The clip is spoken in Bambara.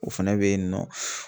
O fɛnɛ b yen nɔ.